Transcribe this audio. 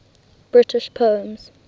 british poems